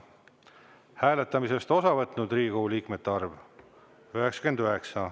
Hääletamisest osa võtnud Riigikogu liikmete arv – 99.